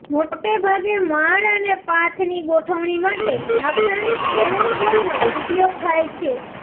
મોટેભાગે માળ અને પાથની ગોઠવણી માટે લાક્ષણિક ટેરેસ બોર્ડનો ઉપયોગ થાય છે